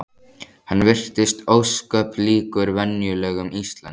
Hann virtist ósköp líkur venjulegum Íslendingi.